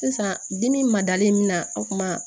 Sisan dimi ma dalen min na a kuma